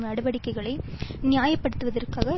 நடவடிக்கைகளை நியாயப்படுத்துவதற்காக